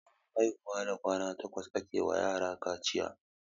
Bayan haihuwa da kwana takwas ake wa yara kaciya.